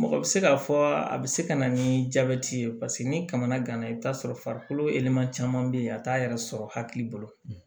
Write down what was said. Mɔgɔ bɛ se k'a fɔ a bɛ se ka na ni jabɛti ye paseke ni kamana gana i bi t'a sɔrɔ farikolo yɛlɛma caman be yen a t'a yɛrɛ sɔrɔ hakili bolo